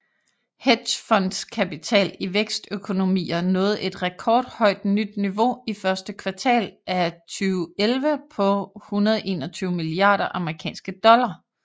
Hedgefondskapital i vækstøkonomier nåede et rekordhøjt nyt niveau i første kvartal af 2011 på 121 milliarder amerikanske dollar